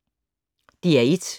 DR1